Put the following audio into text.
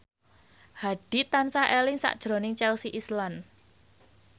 Hadi tansah eling sakjroning Chelsea Islan